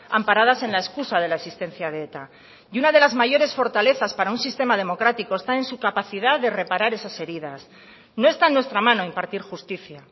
amparadas en la excusa de la existencia de eta y una de las mayores fortalezas para un sistema democrático está en su capacidad de reparar esas heridas no está en nuestra mano impartir justicia